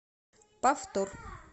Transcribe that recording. повтор